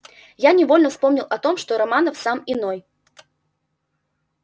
я невольно вспомнил о том что романов сам иной